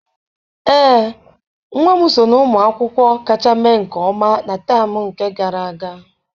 Ee, nwa m so na ụmụ akwụkwọ kacha mee nke ọma na temu nke gara aga.